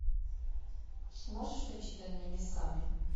можешь включить над небесами